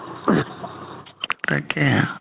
তাকেই